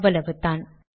அவ்வளவுதான்